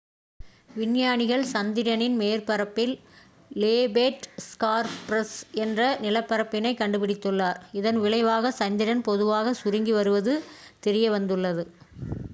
விஞ்ஞானிகள் சந்திரனின் மேற்பரப்பில் லோபேட் ஸ்கார்ப்ஸ் என்ற நிலப்பரப்பினை கண்டுபிடித்துள்ளனர் இதன் விளைவாக சந்திரன் மெதுவாக சுருங்கி வருவது தெரியவந்துள்ளது